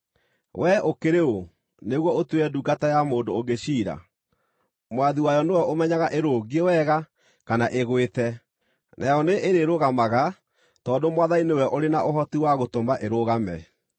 Wee ũkĩrĩ ũ nĩguo ũtuĩre ndungata ya mũndũ ũngĩ ciira? Mwathi wayo nĩwe ũmenyaga ĩrũngiĩ wega kana ĩgwĩte. Nayo nĩĩrĩrũgamaga, tondũ Mwathani nĩwe ũrĩ na ũhoti wa gũtũma ĩrũgame.